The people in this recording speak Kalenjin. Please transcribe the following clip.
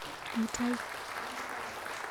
Mutai.